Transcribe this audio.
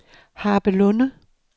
Harpelunde